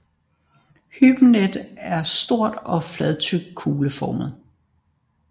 Hybenet er stort og fladtrykt kugleformet